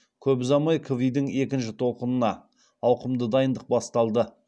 көп ұзамай кви дің екінші толқынына ауқымды дайындық басталды